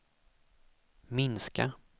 minska